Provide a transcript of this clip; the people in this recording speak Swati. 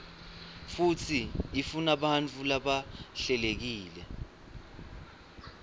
futsi ifunabantfu labahlelekile